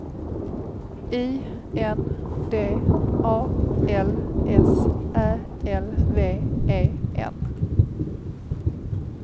I N D A L S Ä L V E N